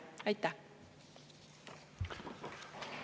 Aitäh!